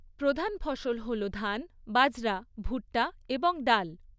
প্রধান ফসল হল ধান, বাজরা, ভুট্টা এবং ডাল।